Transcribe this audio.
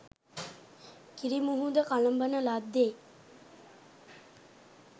කිරි මුහුද කළඹන ලද්දේ